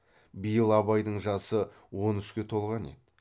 биыл абайдың жасы он үшке толған еді